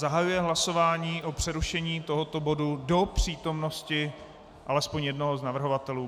Zahajuji hlasování o přerušení tohoto bodu do přítomnosti alespoň jednoho z navrhovatelů.